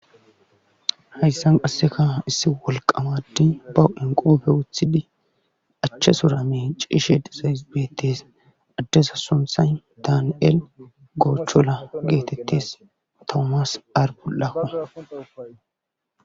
hayssan qassika issi wolqqaama addey ba huphiyan qobe wothidi achatura miiccishe dizays beettes adeza sunthay daaniel goochola geetetes tomas arful7a.